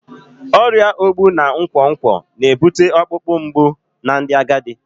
Ọrịa ogbu na nkwonkwo na-ebute ọkpụkpụ mgbu na ndị agadi